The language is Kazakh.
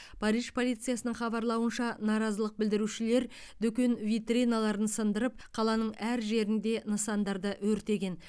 париж полициясының хабарлауынша наразылық білдірушілер дүкен витриналарын сындырып қаланың әр жерінде нысандарды өртеген